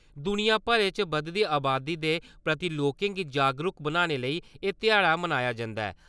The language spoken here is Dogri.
दुनिया भरै च बधदी अबादी दे प्रति लोकें गी जागरूक बनाने लेई एह् ध्याड़ा मनाया जंदा ऐ ।